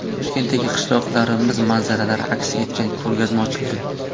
Toshkentda qishloqlarimiz manzaralari aks etgan ko‘rgazma ochildi .